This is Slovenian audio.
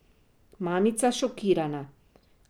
Mamica šokirana.